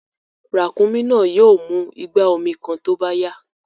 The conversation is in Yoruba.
Ràkúnmí náà yìí ó mú ìgbà omi kàn tó bá yá